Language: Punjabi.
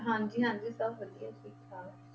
ਹਾਂਜੀ ਹਾਂਜੀ ਸਭ ਵਧੀਆ ਠੀਕ ਠਾਕ।